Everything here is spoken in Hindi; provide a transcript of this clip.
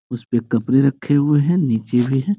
इसपे कापरे रखे हुए है नीचे भी हैं।